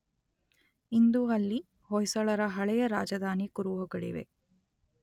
ಇಂದು ಅಲ್ಲಿ ಹೊಯ್ಸಳರ ಹಳೆಯ ರಾಜಧಾನಿ ಕುರುಹುಗಳಿವೆ.